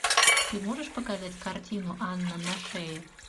ты можешь показать картину анна на шее